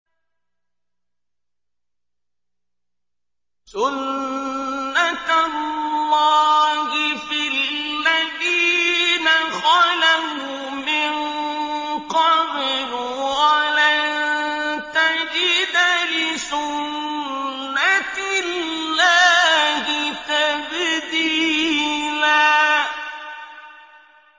سُنَّةَ اللَّهِ فِي الَّذِينَ خَلَوْا مِن قَبْلُ ۖ وَلَن تَجِدَ لِسُنَّةِ اللَّهِ تَبْدِيلًا